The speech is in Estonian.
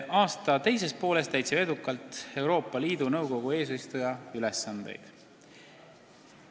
Aasta teises pooles täitsime edukalt Euroopa Liidu Nõukogu eesistuja ülesandeid.